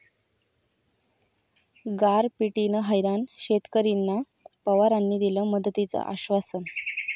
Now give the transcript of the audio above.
गारपिटीनं हैराण शेतकरींना पवारांनी दिलं मदतीचं आश्वासन